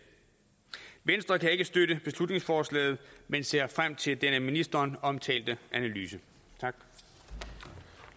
venstre kan ikke støtte beslutningsforslaget men ser frem til den af ministeren omtalte analyse